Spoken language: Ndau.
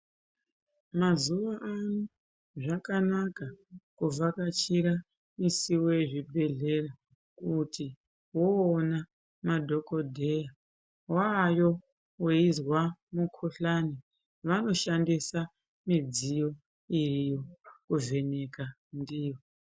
Mazuwaano, zvakanaka kuvhakachira misiwo yezvibhedhlera, kuti woona madhokodheya, waayo weizwa mukhuhlani ,vanoshandisa midziyo iriyo kuvheneka ndiyo.